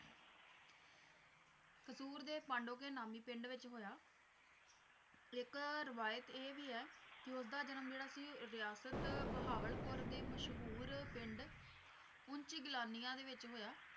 ਕਸੂਰ ਦੇ ਪਾਂਡੋਕੇ ਨਾਮੀ ਪਿੰਡ ਵਿੱਚ ਹੋਇਆ ਇੱਕ ਰਵਾਇਤ ਇਹ ਵੀ ਐ ਕੀ ਉਹਦਾ ਜਨਮ ਜਿਹੜਾ ਸੀ ਰਿਆਸਤ ਬਹਾਵਲਪੁਰ ਦੇ ਮਸ਼ਹੂਰ ਪਿੰਡ ਉਂਚ ਗਿਲਾਨੀਆ ਦੇ ਵਿੱਚ ਹੋਇਆ।